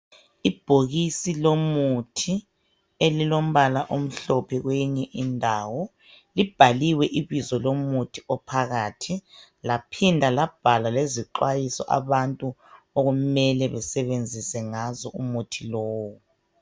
Ibhokisi lomuthi elilombala omhlophe kweyinye indawo libhaliwe ibizo lomuthi ophakathi laphinda labhala lezixwayiso abantu okumele besebenzise ngazo umuthi lowu.